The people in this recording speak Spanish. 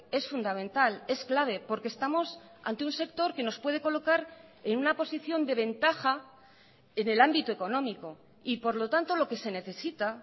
es fundamental es clave porque estamos ante un sector que nos puede colocar en una posición de ventaja en el ámbito económico y por lo tanto lo que se necesita